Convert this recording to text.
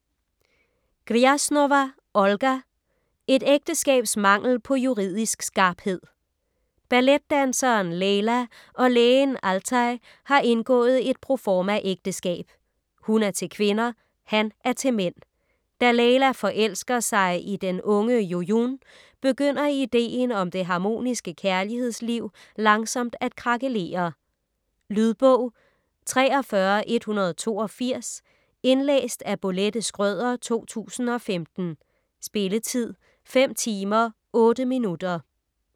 Grjasnowa, Olga: Et ægteskabs mangel på juridisk skarphed Balletdanseren Leyla og lægen Altay har indgået et proformaægteskab. Hun er til kvinder. Han er til mænd. Da Leyla forelsker sig i den unge Jojoun, begynder ideen om det harmoniske kærlighedsliv langsomt at krakelere. Lydbog 43182 Indlæst af Bolette Schrøder, 2015. Spilletid: 5 timer, 8 minutter.